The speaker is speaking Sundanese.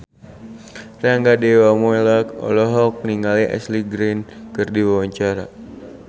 Rangga Dewamoela olohok ningali Ashley Greene keur diwawancara